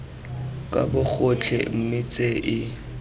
ka bogotlhe mme tse e